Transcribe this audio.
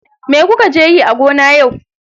Me kuka je yi a gona yau?